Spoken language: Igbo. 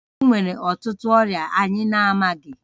Enwere ọtụtụ ọrịa anyị na-amaghị